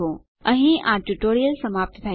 અહીં આ ટ્યુટોરીયલ સમાપ્ત થાય છે